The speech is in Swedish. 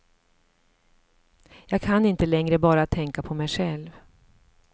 Jag kan inte längre bara tänka på mig själv.